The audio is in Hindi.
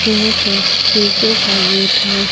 यहां पर शिशो का गेट है।